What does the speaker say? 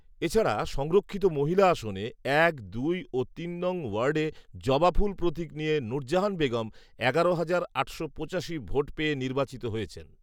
এছাড়া সংরক্ষিত মহিলা আসনে এক, দুই ও তিন নং ওয়ার্ডে জবা ফুল প্রতীক নিয়ে নুরজাহান বেগম এগারো হাজার আটশো পঁচাশি ভোট পেয়ে নির্বাচিত হয়েছেন